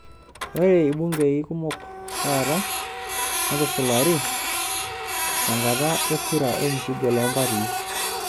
Ore ilbungei kumok taata netusulari tenkata e kura olmuchujo loo mpatii.